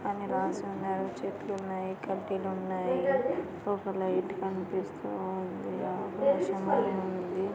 అని రాసి ఉన్నారు. చెట్లున్నాయి కడ్డీలున్నాయి. ఒక లైట్ కనిపిస్తూ ఉంది. ఆకాశము ఉంది.